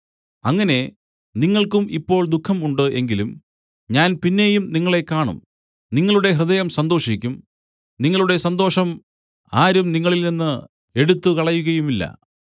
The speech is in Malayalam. അങ്ങനെ നിങ്ങൾക്കും ഇപ്പോൾ ദുഃഖം ഉണ്ട് എങ്കിലും ഞാൻ പിന്നെയും നിങ്ങളെ കാണും നിങ്ങളുടെ ഹൃദയം സന്തോഷിക്കും നിങ്ങളുടെ സന്തോഷം ആരും നിങ്ങളിൽനിന്ന് എടുത്തുകളയുകയുമില്ല